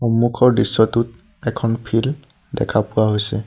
সন্মুখৰ দৃশ্যটোত এখন ফিল্ড দেখা পোৱা হৈছে।